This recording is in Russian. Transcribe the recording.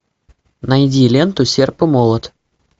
ы